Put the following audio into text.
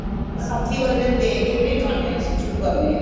ਵਸ਼ਾਖੀ ਵਾਲੇ ਦਿਨ ਦੇ ਕੇ ਫਿਰ ਖਾਣੇ ਹਾਂ ਅਸੀਂ ਫੇਰ ਸ਼ੁਰੂ ਕਰਨੇ ਆ